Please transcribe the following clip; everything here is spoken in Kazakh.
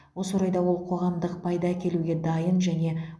осы орайда ол қоғамдық пайда әкелуге дайын және